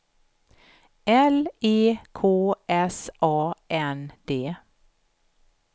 L E K S A N D